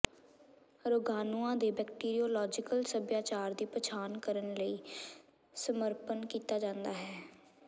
ਰੋਗਾਣੂਆਂ ਦੇ ਬੈਕਟੀਰਿਓਲੋਜੀਕਲ ਸਭਿਆਚਾਰ ਦੀ ਪਛਾਣ ਕਰਨ ਲਈ ਸਮਰਪਣ ਕੀਤਾ ਜਾਂਦਾ ਹੈ